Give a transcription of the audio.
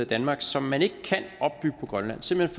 i danmark som man ikke kan opbygge på grønland simpelt